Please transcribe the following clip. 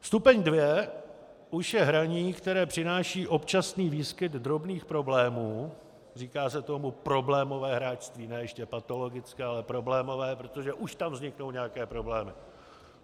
Stupeň 2 už je hraní, které přináší občasný výskyt drobných problémů, říká se tomu problémové hráčství, ne ještě patologické, ale problémové, protože už tam vzniknou nějaké problémy.